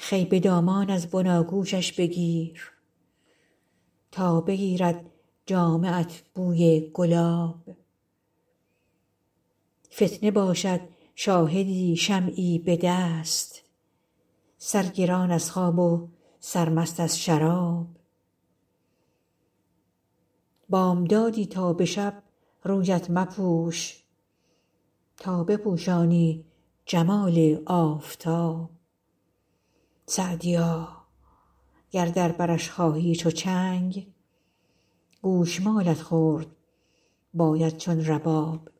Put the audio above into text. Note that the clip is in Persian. خوی به دامان از بناگوشش بگیر تا بگیرد جامه ات بوی گلاب فتنه باشد شاهدی شمعی به دست سرگران از خواب و سرمست از شراب بامدادی تا به شب رویت مپوش تا بپوشانی جمال آفتاب سعدیا گر در برش خواهی چو چنگ گوش مالت خورد باید چون رباب